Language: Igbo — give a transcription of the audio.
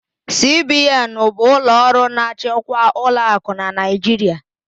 CBN bụ ụlọ ọrụ na-achịkwa ụlọakụ n'Naijiria